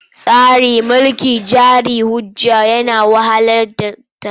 Tsarin mulkin jari hujja yana wahalar da talaka.